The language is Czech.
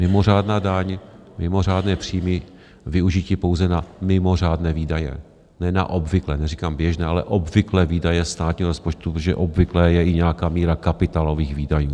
Mimořádná daň, mimořádné příjmy, využití pouze na mimořádné výdaje, ne na obvyklé, neříkám běžné, ale obvyklé výdaje státního rozpočtu, protože obvyklé je i nějaká míra kapitálových výdajů.